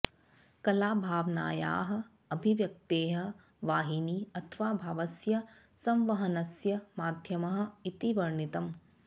कला भावनायाः अभिव्यक्तेः वाहिनी अथवा भावस्य संवहनस्य माध्यमः इति वर्णितम्